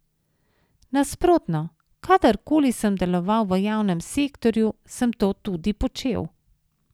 Nasprotno, kadar koli sem deloval v javnem sektorju, sem to tudi počel!